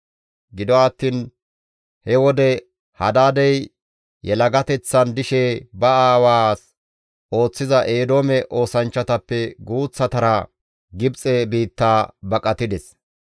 Gido attiin he wode Hadaadey yelagateththan dishe ba aawaas ooththiza Eedoome oosanchchatappe guuththatara Gibxe biitta baqatides.